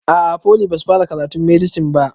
A'a foli basu fara karatun medisin ba